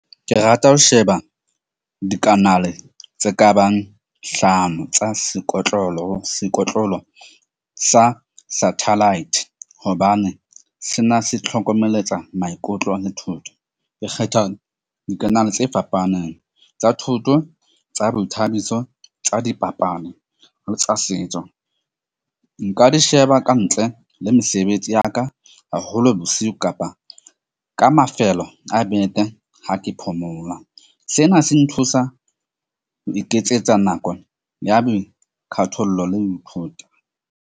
Ke rata ho sheba dikanale tse kabang hlano tsa sekotlolo, sekotlolo sa satellite. Hobane sena se tlhokomeletsa maikutlo le thuto ke kgetha dikanale tse fapaneng tsa thoto tsa boithabiso tsa dipapadi le tsa setso. Nka di sheba ka ntle le mesebetsi ya ka haholo bosiu kapa ka mafelo a beke ha ke phomola. Sena se nthusa ho iketsetsa nako ya boikgathollo le ho ithuta.